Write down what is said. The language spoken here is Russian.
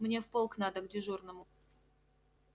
мне в полк надо к дежурному